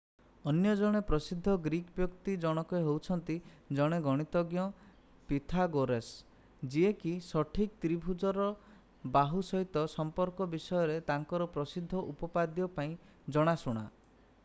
ଅନ୍ୟ ଜଣେ ପ୍ରସିଦ୍ଧ ଗ୍ରୀକ୍ ବ୍ୟକ୍ତି ଜଣକ ହେଉଛନ୍ତି ଜଣେ ଗଣିତଜ୍ଞ ପିଥାଗୋରାସ୍ ଯିଏ କି ସଠିକ ତ୍ରିଭୁଜର ବାହୁ ସହିତ ସମ୍ପର୍କ ବିଷୟରେ ତାଙ୍କର ପ୍ରସିଦ୍ଧ ଉପପାଦ୍ୟ ପାଇଁ ଜଣାଶୁଣା